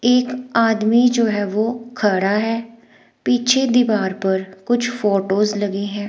एक आदमी जो है वो खड़ा है पीछे दीवार पर कुछ फोटोस लगी हैं।